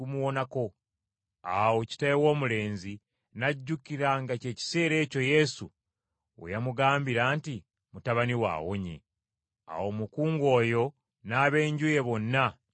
Awo Kitaawe w’omulenzi n’ajjukira nga ky’ekiseera ekyo Yesu we yamugambira nti, “Mutabani wo awonye.” Awo omukungu oyo n’ab’enju ye bonna ne bakkiriza.